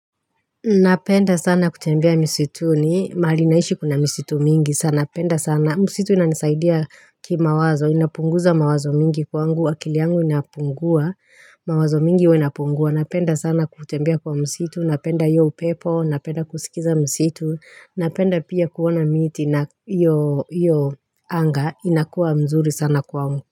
Napenda sana kutembea misituni mahali naishi kuna misitu mingi sana napenda sana msitu inanisaidia kimawazo inapunguza mawazo mingi kwangu akili yangu inapungua mawazo mingi huwa inapungua napenda sana kutembea kwa msitu napenda hiyo upepo napenda kusikiza msitu napenda pia kuona miti na iyo iyo anga inakuwa mzuri sana kwangu.